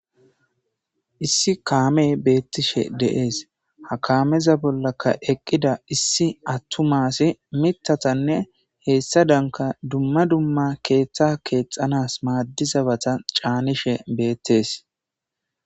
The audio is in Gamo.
Issi kamey betishedees ha kameza bollaka eqida issi attuma asy mithatane hesadanka duma duma ketha kexanaw Mitha chanishe betes